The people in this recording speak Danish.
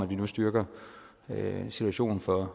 vi nu styrker situationen for